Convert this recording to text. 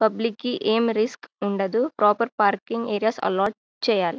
Public కి ఎం risk ఉండదు ప్రొపెర్ పర్కియంగ్ ఏరియా ఏలాట్ చెయ్యాలి.